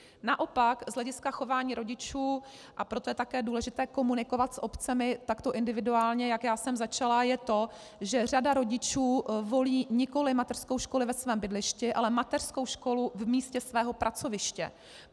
Naopak z hlediska chování rodičů, a proto je také důležité komunikovat s obcemi takto individuálně, jak já jsem začala, je to, že řada rodičů volí nikoliv mateřskou školu ve svém bydlišti, ale mateřskou školu v místě svého pracoviště.